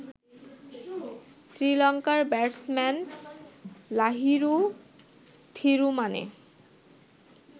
শ্রীলংকার ব্যাটসম্যান লাহিরু থিরুমানে